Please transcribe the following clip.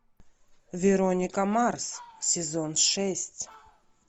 вероника марс сезон шесть